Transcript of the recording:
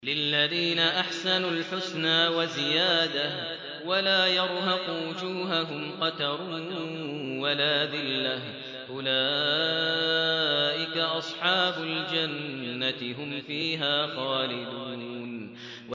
۞ لِّلَّذِينَ أَحْسَنُوا الْحُسْنَىٰ وَزِيَادَةٌ ۖ وَلَا يَرْهَقُ وُجُوهَهُمْ قَتَرٌ وَلَا ذِلَّةٌ ۚ أُولَٰئِكَ أَصْحَابُ الْجَنَّةِ ۖ هُمْ فِيهَا خَالِدُونَ